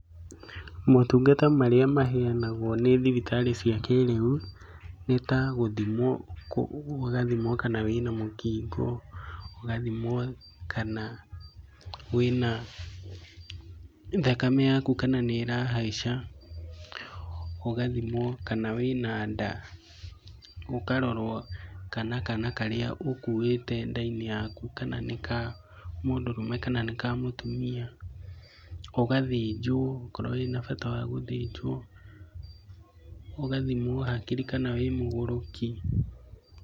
Motungata marĩa maheanagwo nĩ thibitarĩ cia kĩĩrĩu, nĩ ta gũthimwo kana wĩna mũkingi. Ũgathimwo kana wĩna thakame yaku kana nĩĩrahaica, ũgathimwo kana wĩna nda ũgathimwo kana kaana karĩa ũkuĩte nda-inĩ yaku kana nĩ kamũdũrũme kana nĩ kamũtumia. Ũgathĩnjwo okorwo wĩna bata wa gũthĩnjwo. Ũgathimwo hakiri kana wĩmũgũrũki.